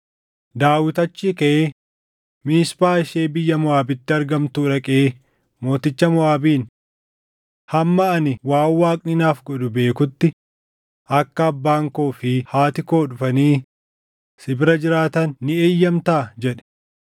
Daawit achii kaʼee Miisphaa ishee biyya Moʼaabitti argamtuu dhaqee mooticha Moʼaabiin, “Hamma ani waan Waaqni naaf godhu beekutti akka abbaan koo fi haati koo dhufanii si bira jiraatan ni eeyyamtaa?” jedhe.